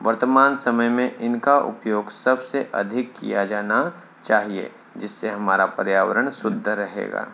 वर्त्तमान समय में इनका उपयोग सबसे अधिक किया जाना चाहिए जिससे हमारा पर्यावरण शुद्ध रहेगा।